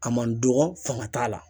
A man dɔgɔ fanga t'a la